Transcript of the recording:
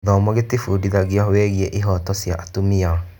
Gĩthomo gĩtũbundithagia wĩgiĩ ihooto cia atumia.